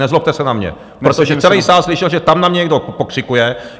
Nezlobte se na mě, protože celý sál slyšel, že tam na mě někdo pokřikuje.